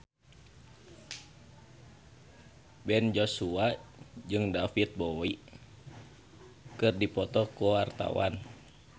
Ben Joshua jeung David Bowie keur dipoto ku wartawan